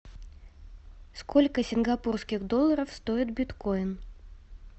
сколько сингапурских долларов стоит биткоин